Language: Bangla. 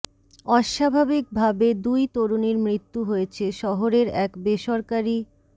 অস্বাভাবিক ভাবে দুই তরুণীর মৃত্যু হয়েছে শহরের এক বেসরকারি